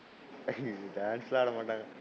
ஹம் dance ல ஆடாமாட்டங்க,